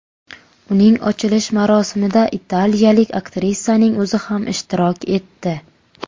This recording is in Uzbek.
Uning ochilish marosimida italiyalik aktrisaning o‘zi ham ishtirok etdi.